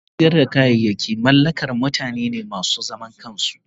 kangin sayar da kayayaki mallakar mutane ne masu zaman kansu.